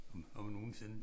Om om nogensinde